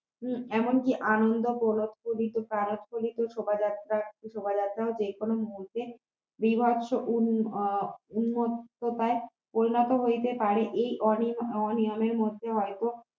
শোভাযাত্রা শোভাযাত্রাও যে কোন মুহূর্তে বীভৎস উন উন্মত্ততায় পরিণত হইতে পারে এই অনিয়মের মধ্যে হয়তো